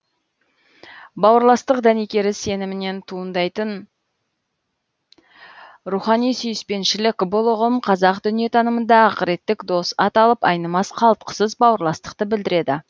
бауырластық дәнекері сенімінен туындайтын рухани сүйіспеншілік бұл ұғым қазақ дүниетанымында ақыреттік дос аталып айнымас қалтқысыз бауырластықты білдіреді